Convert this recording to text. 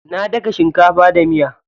Na daga shinkafa da miya.